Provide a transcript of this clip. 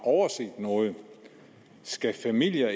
overset noget skal familier